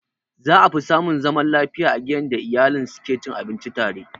Za afi samun zaman lafiya a gidan da iyalen su ke cin abinci a tare.